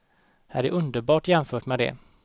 Här är underbart jämfört med det.